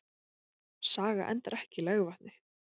Saga endar ekki í legvatni!